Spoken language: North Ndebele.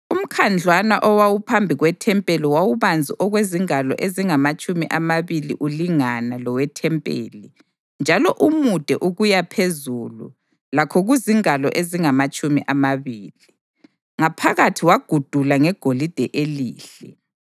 Umkhandlwana owawuphambi kwethempeli wawubanzi okwezingalo ezingamatshumi amabili ulingana lowethempeli njalo umude ukuyaphezulu lakho kuzingalo ezingamatshumi amabili. Ngaphakathi wagudula ngegolide elihle.